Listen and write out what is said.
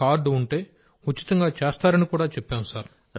card ఉంటే ఉచితంగా చేస్తారని చెప్పాం సార్